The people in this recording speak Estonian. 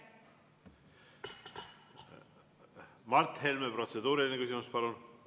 Mart Helme, protseduuriline küsimus, palun!